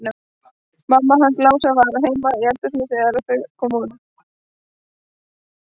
Mamma hans Lása var heima í eldhúsi þegar þær komu aftur.